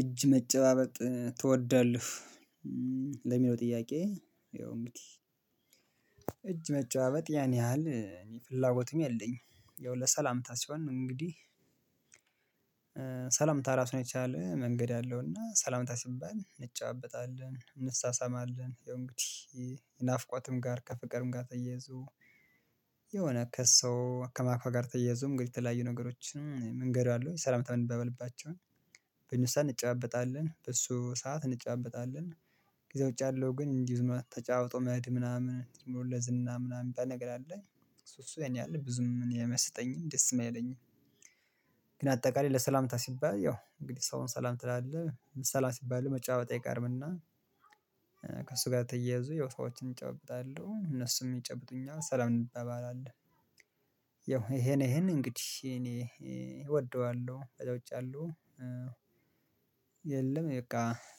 እጅ መጨባበጥ ትወዳለህ? ለሚለው ጥያቄ ይኸው እንግዲህ እጅ መጨባበጥ ያን ያህል እኔ ፍላጎቱም የለኝም ይኸው ለሰላምታ ሲሆን እንግዲህ ሰላምታ ራሱን የቻለ መንገድ አለው እና ሰላምታ ሲባል እንጨባበጣለን እንሳሳማለን ያው እንግዲህ ናፍቆትም ጋር ከፍቅርም ጋር ተያይዞ የሆነ ከሰው አከማክዋ ጋር ተያይዞ እንግዲህ የተለያዩ ነገሮችን መንገድ አለው ሰላምታም እንባባልባቸውን በእንዚህ ሰዓት እንጫበጣለን በእሱ ሰዓት እንጫበጣለን ጊዜ ውጭ አለው ግን እንዲህ ተጫውቶ መሄድ ምናምን ስሞር ለ ዝና ምናምን ምባል ነገር አለ አሱ አሱ ያንያህል ብዙም አኔ አይመሰጠኝም ደስም አይለኝም። ግን አጠቃላይ ለሰላምታ ሲባል ያው እንግዲህ ሰውን ሰላም ትላለህ ሰላም ሲባል መጫወት አይቀርምና ከእሱ ጋር ተያይዞ የሆነ ሰዎችን እጨብጣለሁ እነሱም ይጨብጡኛል ሰላም እንበባላለን ያው ይሄን ይሄን እንግዲህ እኔ እወደዋለሁ ተጫውቻለሁ። የለም በቃ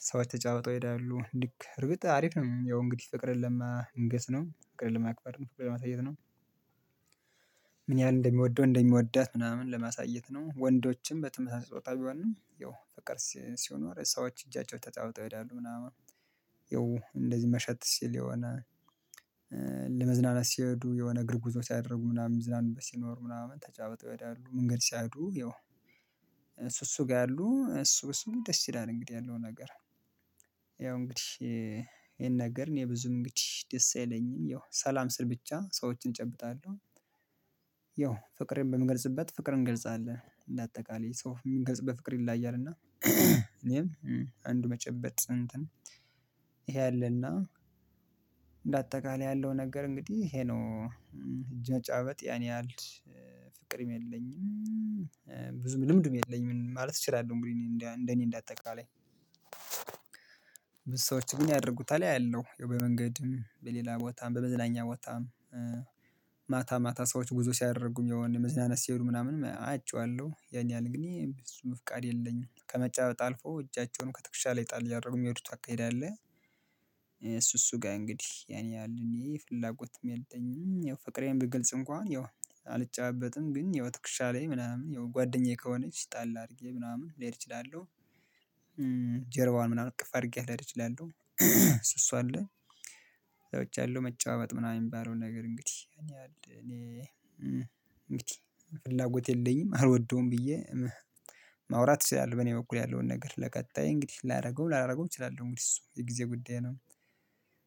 ሰዎች ተጨባብጠው ይሄዳሉ ልክ እርግጥ አሪፍ ነው ያው እንግዲህ ፍቅርን ልማንገስ ነው ፍቅርን ልማክበር ነው ፍቅርን ለማሳየት ነው ምን ያህል እንደሚወደው እንደሚወዳት ምናምን ለማሳየት ነው ወንዶችም በተመሳሳይ ጾታ ቢሆንም ያው ፍቅር ሲኖር ሰዎች እጃቸው ተጨባብጠው ይሄዳሉ ምናምን ያው እንደዚህ መሸት ሲል የሆነ ለመዝናናት ሲሄዱ የሆነ እግር ጉዞ ሲያደርጉ ምናምን ምዝናኑበት ሲኖር ምናምን ተጨባብጠው ይሄዳሉ አንግድህ ሲሄዱ ያው እሱ እሱ ጋር ያሉ እሱ እሱ ደስ ይላል እንግዲህ ያለው ነገር ያው እንግዲህ ይሄን ነገር እኔ ብዙ እንግዲህ ደስ አይለኝም ያው ሰላም ስል ብቻ ሰዎችን እጨብጣለሁ ያው ፍቅሪን በምገልጽበት ፍቅር እንገልጻለን እንደ አጠቃላይ ሰው የምንገልጽበት ፍቅር ይለያያል እና እኔም አንዱ መጨበጥ እንትን ይሄ አለና እንደ አጠቃላይ ያለው ነገር እንግዲህ ይሄ ነው። እጅ መጨባበጥ ያን ያህል ፍቅርም የለኝም ብዙ ልምድም የለኝም ማለት እችላለሁ እንግዲህ እንደ እኔ እንደ አጠቃላይ ብዙ ሰዎች ግን ያደርጉታል አያለው ያው በመንገድም በሌላ ቦታም በመዝናኛ ቦታም ማታ ማታ ሰዎች ጉዞ ሲያደርጉም የሆነ መዝናናት ሲሄዱ ምናምን አይቼዋለሁ። ያን ያህል አንግዲህ እሱም ፍቃድ የለኝም ከመጨባበጥ አልፎ እጃቸውን ከትክሻ ላይ ጣል አያደረጉ የሚሄዱት አካሄድ አለ እሱ እሱ ጋር እንግዲህ ያኔ ያህል እኔ ፍላጎትም የለኝም ያው ፍቅሬን ብግልጽ እንኳን ያው አልጨባበጥም ግን ያው ትክሻ ላይ ምናምን ያው ጓደኛዬ ከሆነች ጣል አድርጌ ምናምን ልሄድ እችላለሁ ጀርባዋን ምናምን እቅፍ አርጌያት ልሄድ እችላለሁ እሱ አሱ አለ ሰዎች አለው መጨባበጥ ምናምን የሚባለውን ነገር እንግዲህ ያንያህል እኔ እንግዲህ ፍላጎት የለኝም አልወደውም ብዬ ማውራት እችላለሁ በኔ በኩል ያለውን ነገር ለቀጣይ እንግዲህ ላረገው ላላረገውም እችላለሁ እንግዲህ እሱ የጊዜ ጉዳይ ነው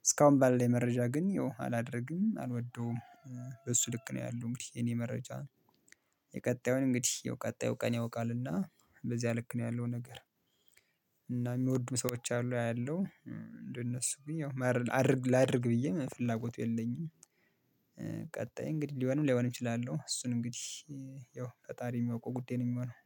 እስካሁን ባለ መረጃ ግን ያው አላደርግም አልወደውም በሱ ልክ ነው ያለው እንግዲህ የኔ መረጃ የቀጣዩን እንግዲህ ያው ቀጣዩ ቀን ያውቃልና በዚያ ልክ ነው ያለው ነገር እና የሚወዱም ሰዎች አሉ አያለው እንደነሱ ግን ያው ማርል አድርግ ላድርግ ብዬ ምንም ፍላጎቱ የለኝም ቀጣይ እንግዲህ ሊሆንም ላይሆንም እችላለሁ እሱን እንግዲህ ያው ፈጣሪ የሚያውቀው ጉዳይ ነው የሚሆነው